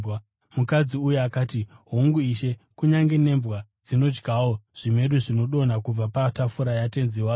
Mukadzi uya akati, “Hongu Ishe, kunyange nembwa dzinodyawo zvimedu zvinodonha kubva patafura yatenzi wadzo.”